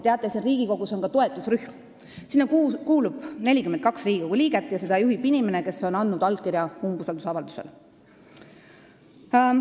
Teate, siin Riigikogus on ka toetusrühm, sinna kuulub 42 Riigikogu liiget ja seda juhib inimene, kes on andnud umbusaldusavaldusele allkirja.